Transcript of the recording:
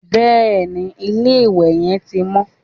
Bẹ́ẹ̀ni, ilé-ìwẹ̀ yẹn ti mọ́